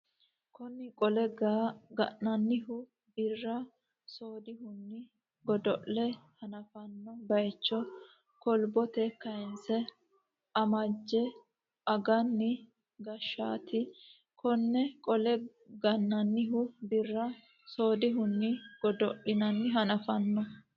Konne Qollee ga ninannihu Birra soodihunni godo le hanaffanno baycho kolbote kayinse Ammajje agani geeshshaati Konne Qollee ga ninannihu Birra soodihunni godo le hanaffanno.